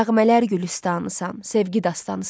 nəğmələr gülüstanısan, sevgi dastanıısan.